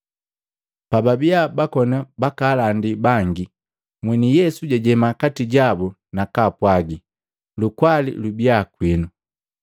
Pababiya bakoni bakaalandila bangi, mweni Yesu jajema kati jabu, na kwaapwagi, “Lukwali lubiya kwinu.”